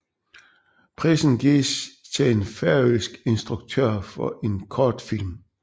Prisen gives til en færøsk instruktør for en kortfilm